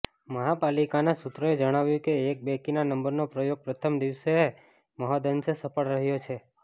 મહાપાલિકાના સૂત્રોએ જણાવ્યું કે એકી બેકીના નંબરનો પ્રયોગ પ્રથમ દિવસે મહદ અંશે સફળ રહ્યો છે